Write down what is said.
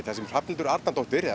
þar sem Hrafnhildur Arnardóttir eða